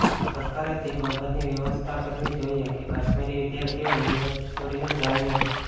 સરકારે તે બાબતની વ્યવસ્થા કરવી જોઇએ કે કાશ્મીરી વિદ્યાર્થીઓ યુનિવર્સિટી છોડીને જાય નહી